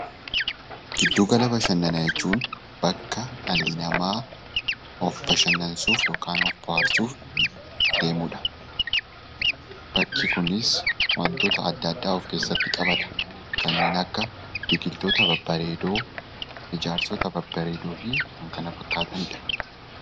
Giddu gala bashannanaa jechuun bakka dhalli namaa of bashannansiisuuf yookaan of bohaarsuuf deemudha. Bakki kunis wantoota adda addaa of keessatti qabata. Kanneen akka biqiloota babbareedoo, ijaarsota babbareedoofi kan kana fakkaatanidha.